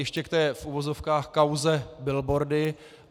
Ještě k té, v uvozovkách kauze billboardy.